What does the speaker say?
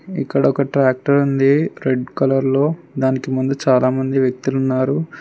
ఇక్కడొక ట్రాక్టర్ ఉంది రెడ్ కలర్లో దానికి ముందు చాలామంది వ్యక్తులు ఉన్నారు.